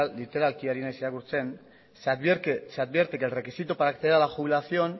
literalki ari naiz irakurtzen se advierte que el requisito para acceder a la jubilación